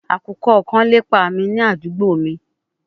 Akukọ kan lepa mi ni adugbo mi